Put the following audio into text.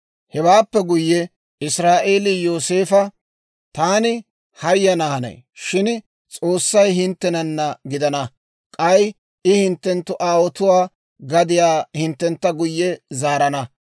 Hewaappe guyye Israa'eelii Yooseefo, «Taani hayana hanay; shin S'oossay hinttenana gidana; k'ay I hinttenttu aawotuwaa gadiyaa hinttentta guyye zaarana.